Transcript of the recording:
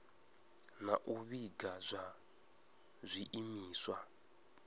na u vhiga zwa zwiimiswa